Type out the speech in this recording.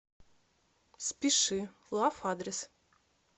спешилав адрес